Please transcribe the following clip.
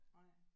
Nej